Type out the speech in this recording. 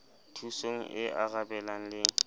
thusong e arabelang le e